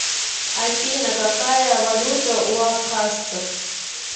афина какая валюта у абхазсцев